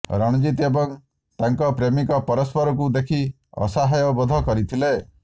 ରଣଜିତ ଏବଂ ତାଙ୍କ ପ୍ରେମିକ ପରସ୍ପରକୁ ଦେଖି ଅସହାୟ ବୋଧ କରିଥିଲେ